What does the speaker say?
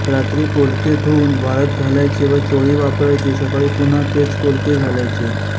रात्री पोलके धुवून वाळत घालायचे व चोळी वापरायची सकाळी पुन्हा तेच पोलके घालायचे